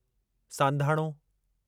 सांधाणो